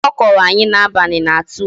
Akụkọ ọ kọrọ anyị n'abalị na-atụ ụjọ